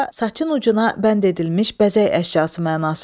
Burda saçın ucuna bənd edilmiş bəzək əşyası mənasında.